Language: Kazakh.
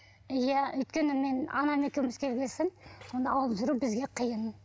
иә өйткені мен анам екеуміз келген соң оны алып жүру бізге қиын